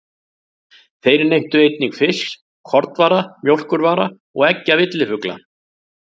Þeir neyttu einnig fisks, kornvara, mjólkurvara og eggja villifugla.